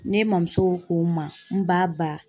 Ne mamuso ko n ma, n ba ba.